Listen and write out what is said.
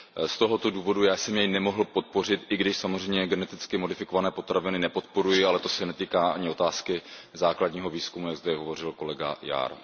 Z tohoto důvodu jsem jej nemohl podpořit, i když samozřejmě geneticky modifikované potraviny nepodporuji, ale to se netýká ani otázky základního výzkumu, jak zde hovořil kolega Jahr.